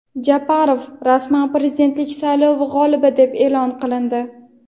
Japarov rasman prezidentlik saylovi g‘olibi deb e’lon qilindi.